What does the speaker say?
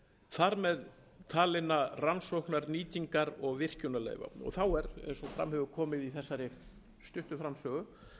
þar með talinna rannsóknar nýtingar og virkjunarleyfa þá er eins og fram hefur komið í þessari stuttu framsögu